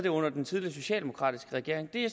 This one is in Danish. under den tidligere socialdemokratiske regering det er